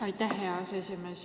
Aitäh, hea aseesimees!